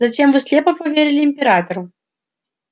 затем вы слепо поверили императору